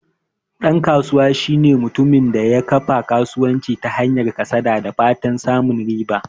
Dan kasuwa shine mutumin da ya kafa kasuwanci ta hanyar yin kasada da fatan samun riba.